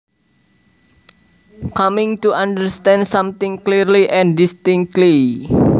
Coming to understand something clearly and distinctly